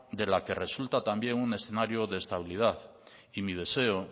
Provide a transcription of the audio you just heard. de la que resulta también un escenario de estabilidad y mi deseo